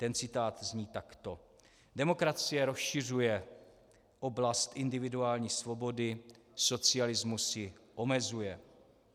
Ten citát zní takto: "Demokracie rozšiřuje oblast individuální svobody, socialismus ji omezuje.